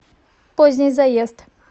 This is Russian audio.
поздний заезд